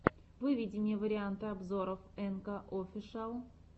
выведи мне варианты обзоров энка офишиал